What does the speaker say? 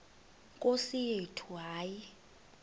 nkosi yethu hayi